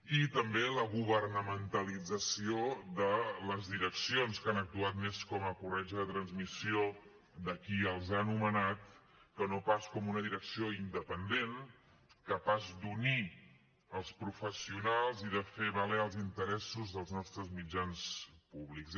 i també la governamentalització de les direccions que han actuat més com a corretja de transmissió de qui els ha nomenat que no pas com una direcció independent capaç d’unir els professionals i de fer valer els interessos dels nostres mitjans públics